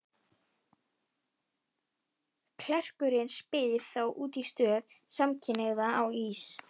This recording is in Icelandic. Klerkurinn spyr þá út í stöðu samkynhneigðra á Ís